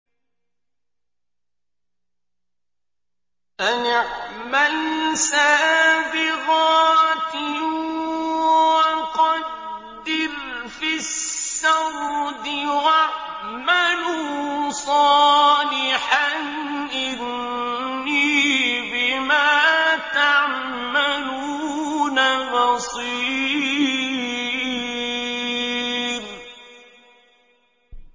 أَنِ اعْمَلْ سَابِغَاتٍ وَقَدِّرْ فِي السَّرْدِ ۖ وَاعْمَلُوا صَالِحًا ۖ إِنِّي بِمَا تَعْمَلُونَ بَصِيرٌ